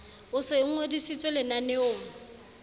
o se o ngodisitswe lenaneong